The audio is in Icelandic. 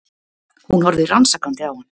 Hún horfði rannsakandi á hann.